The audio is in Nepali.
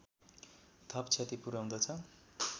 थप क्षति पुर्‍याउँदछ